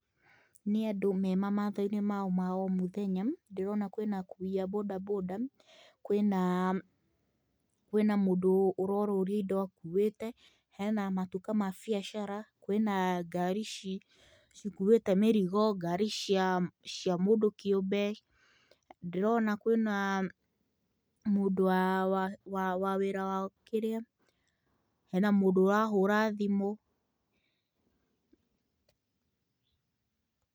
Nĩ andũ me mamatha-inĩ mao ma o mũthenya. Ndĩrona kwĩna akui a bodaboda, kwinaa kwina mũndũ ũrorũria indo akuĩte, hena matuka ma biacara, kwĩna ngari cikuĩte mĩrigo, ngari cia cia mũndũ kĩũmbe, ndĩrona kwĩnaa mũndũ wa wa wa wĩra wa kĩrĩa, hena mũndũ ũrahũra thimũ. Pause